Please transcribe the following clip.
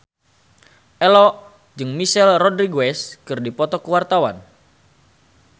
Ello jeung Michelle Rodriguez keur dipoto ku wartawan